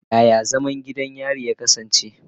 Yaya zaman gidan yari ya kasance?